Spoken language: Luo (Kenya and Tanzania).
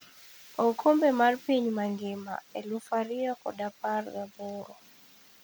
Okombe mar piny mangima 2018.